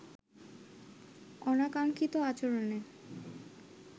অনাকাঙ্ক্ষিত আচরণে